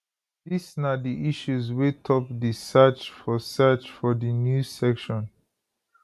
dis na di issues wey top di search for search for di news section